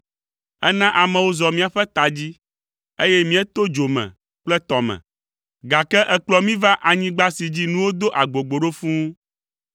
Èna amewo zɔ míaƒe ta dzi, eye míeto dzo me kple tɔ me, gake èkplɔ mí va anyigba si dzi nuwo do agbogbo ɖo fũu.